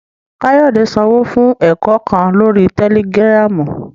Kayode sanwo fun ẹkọ kan lori Tẹlìgìrámu